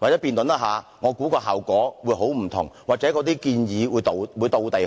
或辯論時，我相信效果會截然不同，所提出的建議或許會"貼地"得多。